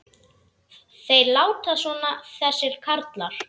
Þeir láta svona þessir karlar.